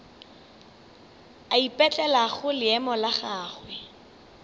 a ipetlelago leemo la gagwe